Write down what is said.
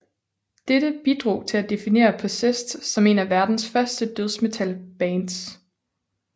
Dette bidrog til at definere Possessed som et af verdens første dødsmetalbands